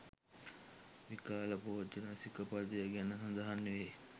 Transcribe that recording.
විකාල භෝජන සික පදය ගැන සඳහන් වේ.